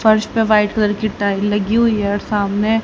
फर्श पर white colour की टाइल लगी हुई है और सामने--